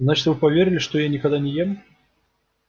значит вы поверили что я никогда не ем